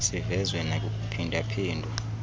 sivezwe nakukuphinda phindwa